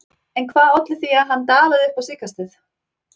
En hvað olli því að hann dalaði upp á síðkastið?